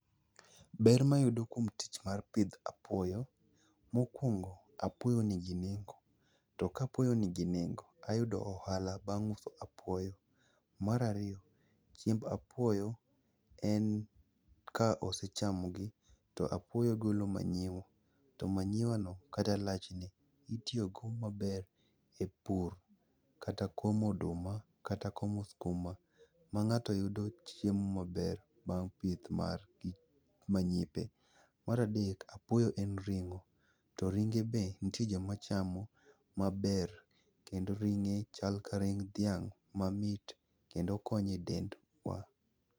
Ber mayudo kuom tich mar pidho apuoyo, mokwongo, apuoyo nigi nengo, to ka apuoyo nigi nengo, ayudo ohala bang' uso apuoyo. Mar ariyo, chiemb apuoyo en ka osechamogi, to apuoyo golo manyiwa to manyiwano kata lachne, itiyogo maber e pur kata komo oduma kata komo skuma, ma ng'ato yudo chiemo maber bang' pith mar gi gi manyipe. Mar adek, apuoyo en ring'o, to ringe be nitie joma chamo maber, kendo ringe chal ka ring' dhiang' mamit kendo konyo e dendwa.